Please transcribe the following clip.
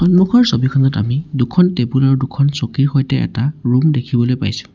সন্মুখৰ ছবিখনত আমি দুখন টেবুল আৰু দুখন চকীৰ সৈতে আমি ৰূম দেখিবলৈ পাইছোঁ।